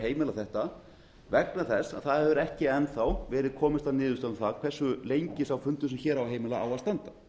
heimila þetta vegna þess að það hefur ekki enn þá verið komist að niðurstöðu um það hversu lengi fundur sem hér á að heimila á að standa